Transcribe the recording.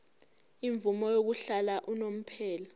imvume yokuhlala unomphela